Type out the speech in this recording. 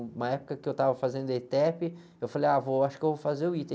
Uma época que eu estava fazendo etépi, eu falei, ah, vô, eu acho que eu vou fazer o ita.